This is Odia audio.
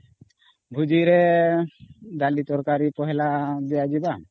ଭୋଜିରେ ଡାଲି ତରକାରୀ ତା ଦିଆଯିମ